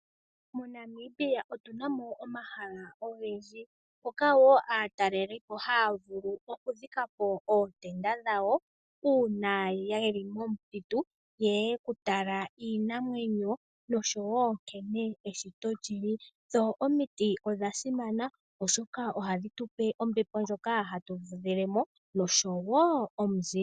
MoNamibia otunamo omahala ogendji mpoka aatalelipo haya vulu okudhikapo ootenda dhawo uuna yeli momuthitu yeye okutala iinamwenyo nonkene eshito lyili. Dho omiti odha simana oshoka ohadhi tupe ombepo ndjoka hatu fudhilemo nomuzile.